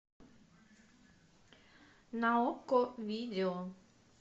на окко видео